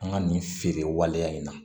An ka nin feere waleya in na